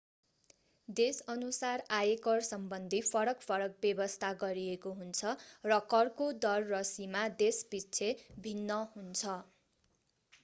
देशअनुसार आयकरसम्बन्धी फरक फरक व्यवस्था गरिएको हुन्छ र करको दर र सीमा देशपिच्छे भिन्न हुन्छ